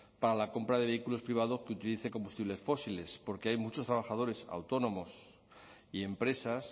para la compra de vehículos privados que utilicen combustibles fósiles porque hay muchos trabajadores autónomos y empresas